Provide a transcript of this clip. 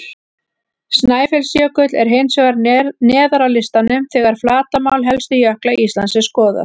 Snæfellsjökull er hins vegar neðar á listanum þegar flatarmál helstu jökla Íslands er skoðað.